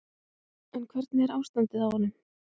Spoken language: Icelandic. En hvernig er ástandið á honum?